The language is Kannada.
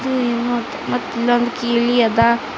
ಇ ಮತ್ ಮತ್ತ ಇಲ್ಲೊಂದು ಕೀಲಿಯಾದ.